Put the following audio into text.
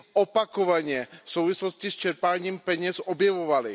opakovaně v souvislosti s čerpáním peněz objevovaly.